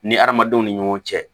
Ni hadamadenw ni ɲɔgɔn cɛ